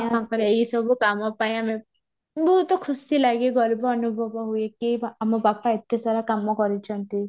ମୋ ବାପାଙ୍କର ଏଇ ସବୁ କାମ ପାଇଁ ଆମେ ବହୁତ ଖୁସି ଲାଗେ ଗର୍ବ ଅନୁଭବ ହୁଏ କି ଆମ ବାପା ଏତେ ସାରା କାମ କରିଛନ୍ତି